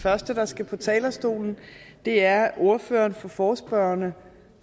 første der skal på talerstolen er ordføreren for forespørgerne